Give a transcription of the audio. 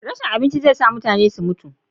rashin abinci zai sa mutane su mutu